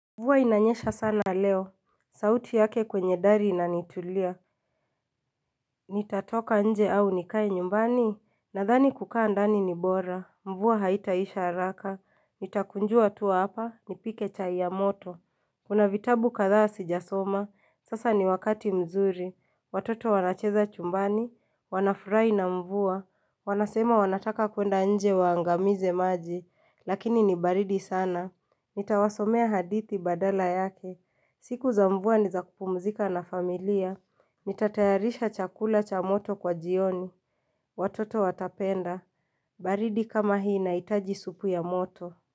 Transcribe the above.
Mvua inanyesha sana leo, sauti yake kwenye dari inanitulia Nitatoka nje au nikae nyumbani, nadhani kukaa ndani ni bora Mvua haitaisha haraka, nitakunjua tu hapa, nipike chai ya moto Kuna vitabu kadhaa sijasoma, sasa ni wakati mzuri Watoto wanacheza chumbani, wanafurahi na mvua Wanasema wanataka kwenda nje waangamize maji, lakini ni baridi sana Nitawasomea hadithi badala yake. Siku za mvua ni za kupumzika na familia. Nitatayarisha chakula cha moto kwa jioni. Watoto watapenda. Baridi kama hii inahitaji supu ya moto.